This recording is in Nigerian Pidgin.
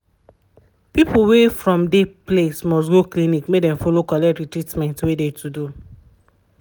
people wey from de place must go clinic make dem follow collect treatment wey de to do.